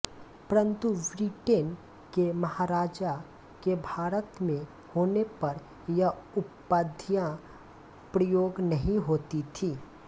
परन्तु ब्रिटेन के महाराजा के भारत में होने पर यह उपाधियां प्रयोग नहीं होती थीं